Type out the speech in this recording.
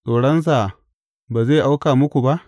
Tsoronsa ba zai auka muku ba?